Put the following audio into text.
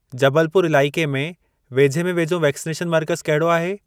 जबलपुर इलाइके में वेझे में वेझो वैक्सनेशन मर्कज़ कहिड़ो आहे?